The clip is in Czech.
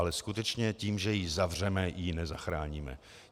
Ale skutečně, tím, že ji zavřeme, ji nezachráníme.